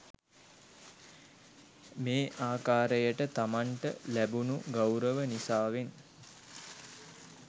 මේ ආකාරයට තමන්ට ලැබුණූ ගෞරව නිසාවෙන්